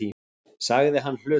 sagði hann hlutlaust.